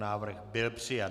Návrh byl přijat.